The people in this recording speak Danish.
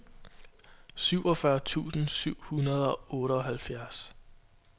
syvogfyrre tusind syv hundrede og otteoghalvfjerds